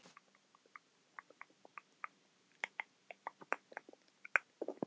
En ef síldin okkar hrygnir ekki hér hvar getur hún þá hrygnt?